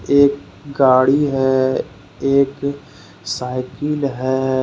एक गाड़ी है एक साइकिल है।